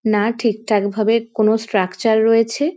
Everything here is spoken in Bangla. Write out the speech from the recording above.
না ঠিকঠাক ভাবে কোন স্ট্রাকচার রয়েছে।